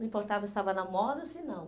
Não importava se estava na moda ou se não.